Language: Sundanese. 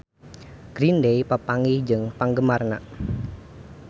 Green Day papanggih jeung penggemarna